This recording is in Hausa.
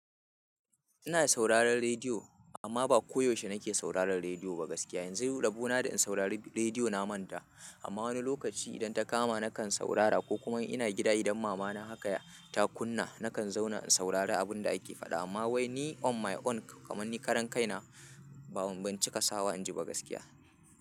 Ina sauraron rediyo amma ba koyaushe nake sauraron rediyo ba gaskiya. Yanzu rabona da in saurari rediyo na manta amma wani lokaci idan ta kama nakan saurara ko kuma ina gida idan mama na haka ta kunna nakan zauna in saurari abin da ake faɗa amma wai ni on my own kamar ni karan kai na ba ban cika sawa in ji ba gaskiya.